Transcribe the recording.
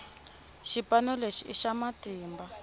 xipano lexi i xa matimba